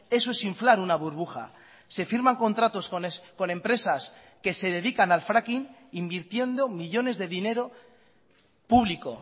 eso es inflar una burbuja se firman contratos con empresas que se dedican al fracking invirtiendo millónes de dinero público